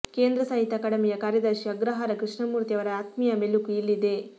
ಕೇಂದ್ರ ಸಾಹಿತ್ಯ ಅಕಾಡೆಮಿಯ ಕಾರ್ಯದರ್ಶಿ ಅಗ್ರಹಾರ ಕೃಷ್ಣಮೂರ್ತಿ ಅವರ ಆತ್ಮೀಯ ಮೆಲುಕು ಇಲ್ಲಿದೆ